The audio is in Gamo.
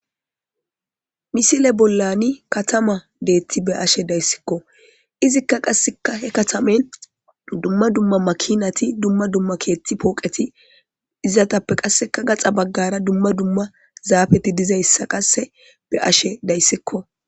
misile bollani katama deetti be ashe dayssikko izikka qasseka he katamen dumma dumma makinati dumma dumma keetti pooqeti izatappe qasseka gaxa baggara dumma dumma zaafeti dizayssa qasse be ashe dayssikko